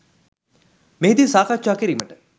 මෙහිදී සාකච්ඡා කිරීමට